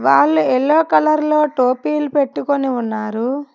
వాళ్లు yellow colour లో టోపీలు పెట్టుకొని ఉన్నారు.